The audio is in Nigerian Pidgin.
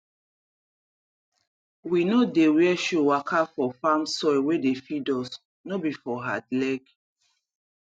we no dey wear shoe waka for farm soil wey dey feed us no be for hard leg